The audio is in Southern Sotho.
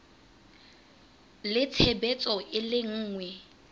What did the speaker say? le tshebetso e le nngwe